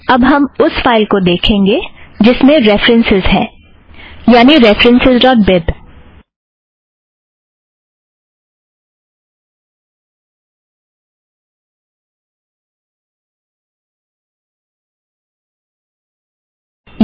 अब हम उस फ़ाइल को देखेंगे जिसमें रेफ़रन्सस् है यानि रेफ़रन्सस् ड़ॉट बिब